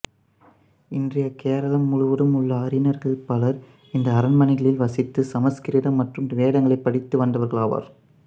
இன்றைய கேரளம் முழுவதிலும் உள்ள அறிஞர்களில் பலர் இந்த அரண்மனைகளில் வசித்து சமசுகிருதம் மற்றும் வேதங்களை படித்து வந்தவர்களாவர்